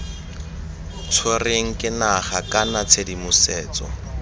tshwerweng ke naga kana tshedimosetso